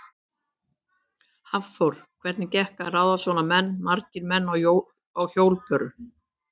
Hafþór: Hvernig gekk að ráða svona menn, marga menn á hjólbörur?